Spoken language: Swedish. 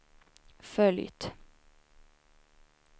följt